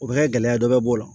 O bɛ kɛ gɛlɛya dɔ b'o la